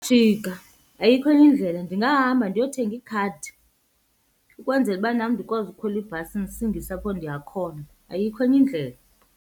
Jika, ayikho enye indlela. Ndingahamba ndiyothenga ikhadi ukwenzela uba nam ndikwazi ukhwela ibhasi ndisingise apho ndiya khona, ayikho enye indlela.